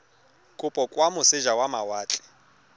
kopo kwa moseja wa mawatle